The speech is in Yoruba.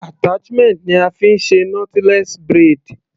Attachment ni a fí ń ṣe knotless braid.